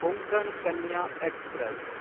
Konkan Kanya express